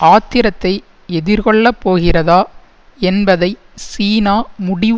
ஆத்திரத்தை எதிர்கொள்ள போகிறதா என்பதை சீனா முடிவு